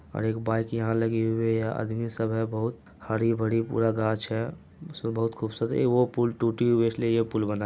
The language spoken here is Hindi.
एक बाइक यहाँ लगी हु है। आदमी सब है बहुत हरी भरी पूरा गाछ है जो बहुत खूबसूरत है। वो पूल टूटी हुई है इसलिए ये पुल बना--